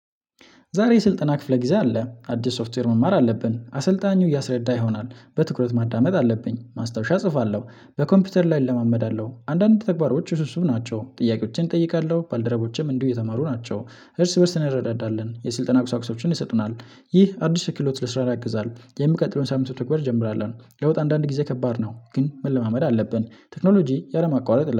ዛሬ ስልጠና ክፍለ ጊዜ አለ አዲስ ሶፍትዌር መማር አለብን አሰልጣኙ እያስረዳ ይሆናል በትኩረት ማዳመጥ አለብኝ ማስታወሻ እጽፋለሁ። በኮምፒውተር ላይ እለማመዳለሁ አንዳንድ ተግባሮች ውስብስብ ናቸው ጥያቄዎችን እጠይቃለሁ ባልደረቦችም እንዲሁ የተማሩ ናቸው። እርስ በእርስ ነው እንረዳዳለን የስልጠና ቁሳቁሶችን ይሰጡናል። ይህ አዲስ ክሎት ለስራ ያግዛል። የምቀጥለውን ሳምንት መተግበር እንጀምራለን ለወጥ አንዳንድ ጊዜ ከባድ ነው። ግን መለማመድ አለብን ቴክኖሎጂ ያለመቋረጥ